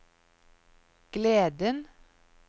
gleden